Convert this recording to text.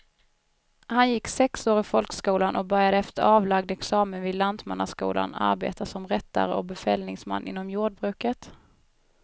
Han gick sex år i folkskolan och började efter avlagd examen vid lantmannaskolan arbeta som rättare och befallningsman inom jordbruket.